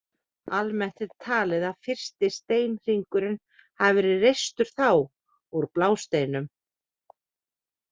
Almennt er talið að fyrsti steinhringurinn hafi verið reistur þá, úr blásteinum.